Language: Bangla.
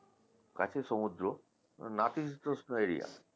কাছে সমুদ্র নাতিশীতোষ্ণ area